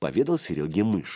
поведал серёге мышь